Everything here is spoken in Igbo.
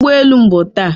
ụgbọ elu m bụ taa